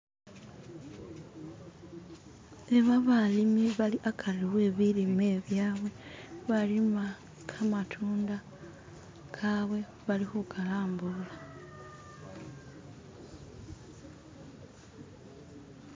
Iba balimi bali agati webilime byawe baalima gamatunda gawe balikugalambula